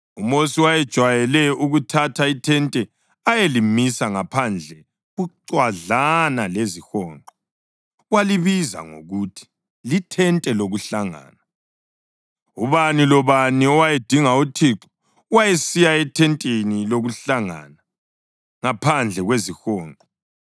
UMosi wayejwayele ukuthatha ithente ayelimisa ngaphandle bucwadlana lezihonqo. Walibiza ngokuthi “lithente lokuhlangana.” Ubani lobani owayedinga uThixo wayesiya ethenteni lokuhlangana ngaphandle kwezihonqo.